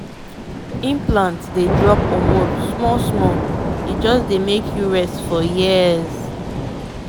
once dem fix implant for you e no dey give wahala to maintain— na easy way to control belle actually.